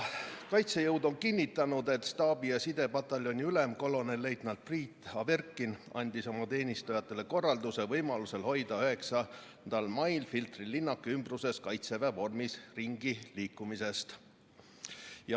Kaitsejõud on kinnitanud, et staabi- ja sidepataljoni ülem kolonelleitnant Priit Averkin andis oma teenistujatele korralduse võimaluse korral hoiduda 9. mail Filtri linnaku ümbruses Kaitseväe vormis ringi liikumast.